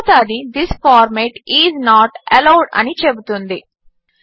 తరువాత అది this format is not allowed అని చెబుతుంది